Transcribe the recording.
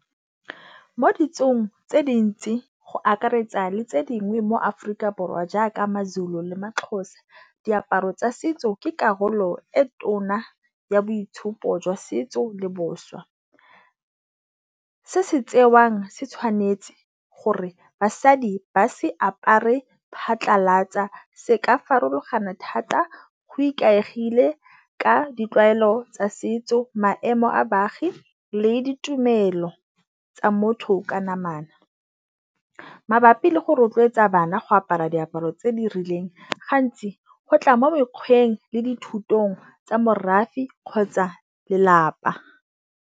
Mo ditsong tse dintsi, go akaretsa le tse dingwe mo Aforika Borwa jaaka maZulu le maXhosa, diaparo tsa setso ke karolo e tona ya boitshupo jwa setso le boswa. Se se tsewang, se tshwanetse gore basadi ba se apare phatlhalatsa. Se ka farologana thata, go ikaegile ka ditlwaelo tsa setso, maemo a baagi le ditumelo tsa motho ka namana, mabapi le go rotloetsa bana go apara diaparo tse di rileng, gantsi go tla mo mekgweng le dithutong tsa morafe kgotsa lelapa.